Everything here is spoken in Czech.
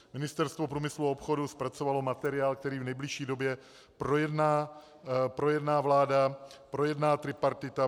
Ministerstvo průmyslu a obchodu zpracovalo materiál, který v nejbližší době projedná vláda, projedná tripartita.